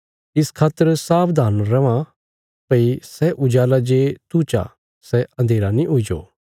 इस खातर सावधान रैयां भई सै उजाला जे तू चा सै अन्धेरा नीं हुईजो